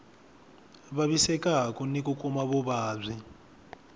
vavisekaku ni ku kuma vuvabyi